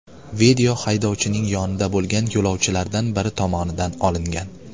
Video haydovchining yonida bo‘lgan yo‘lovchilardan biri tomonidan olingan.